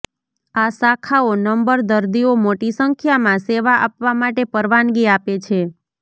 આ શાખાઓ નંબર દર્દીઓ મોટી સંખ્યામાં સેવા આપવા માટે પરવાનગી આપે છે